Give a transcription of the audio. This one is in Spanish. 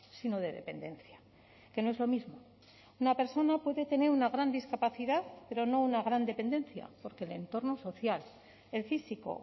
sino de dependencia que no es lo mismo una persona puede tener una gran discapacidad pero no una gran dependencia porque el entorno social el físico